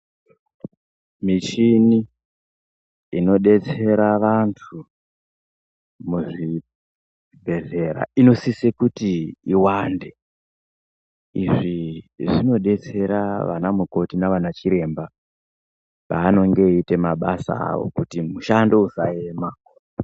Mishini inodetsera vantu muzvibhedhlera inosise kui iwande izvi zvinodetsera vana mukoti navana chiremba pavanenge veiita mabasa avo kuti mushando usaema.